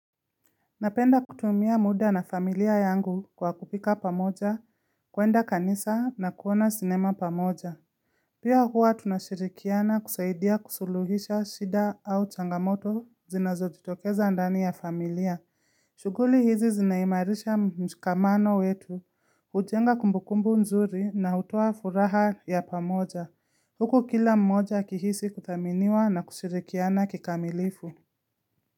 Napenda kutumia muda na familia yangu kwa kupika pamoja kwenda kanisa na kuona sinema pamoja Pia huwa tunashirikiana kusaidia kusuluhisha shida au changamoto zinazojitokeza ndani ya familia shughuli hizi zinaimarisha mshikamano wetu hujenga kumbukumbu nzuri na hutoa furaha ya pamoja huku kila mmoja akihisi kuthaminiwa na kushirikiana kikamilifu.